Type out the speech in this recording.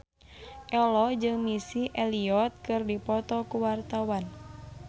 Ello jeung Missy Elliott keur dipoto ku wartawan